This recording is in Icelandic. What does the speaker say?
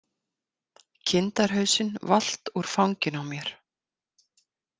Kindarhausinn valt úr fanginu á mér.